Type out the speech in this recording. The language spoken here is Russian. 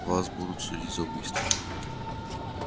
вас будут судить за убийство